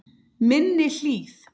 Minni Hlíð